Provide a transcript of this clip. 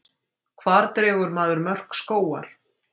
Hvar dregur maður mörk skógar?